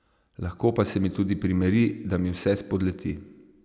Lahko pa se mi tudi primeri, da mi vse spodleti.